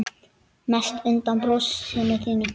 Mest undan brosinu þínu.